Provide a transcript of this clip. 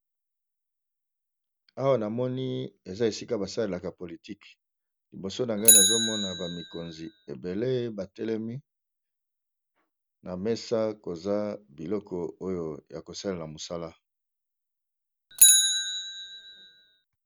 Awa namoni eza esika basalelaka politique, liboso na ngai nazomona ba mikonzi ebele batelemi na mesa koza biloko oyo ya kosalela mosala.